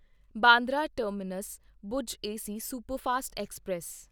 Bandra terminus Bhuj AC superfast express